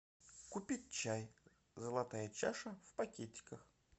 купить чай золотая чаша в пакетиках